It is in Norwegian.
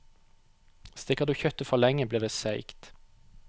Steker du kjøttet for lenge, blir det seigt.